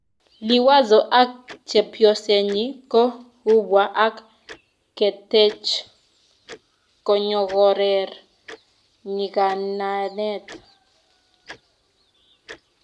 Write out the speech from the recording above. liwazo ak chepyosenyi ko kubwa ak ketach konyokoker nyikanatet